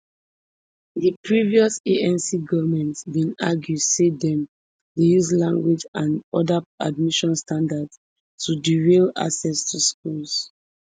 di previous anc goment bin argue say dem dey use language and oda admission standards to derail access to schools